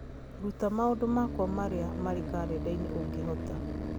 ruta maũndũ makwa marĩa marĩ karenda-inĩ ũngĩhota